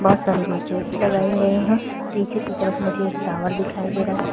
बहोत सारी मशीने लगाई गई है। पीछे की तरफ मुजे एक टावर दिखाई दे रहा है।